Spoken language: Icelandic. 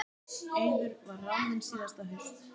Eiður var ráðinn síðasta haust.